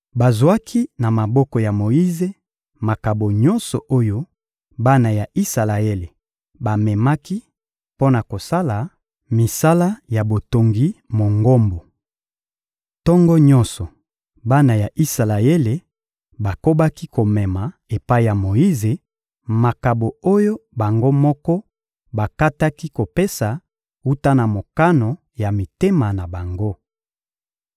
Bazwaki na maboko ya Moyize makabo nyonso oyo bana ya Isalaele bamemaki mpo na kosala misala ya botongi Mongombo. Tongo nyonso, bana ya Isalaele bakobaki komema epai ya Moyize makabo oyo bango moko bakataki kopesa wuta na mokano ya mitema na bango.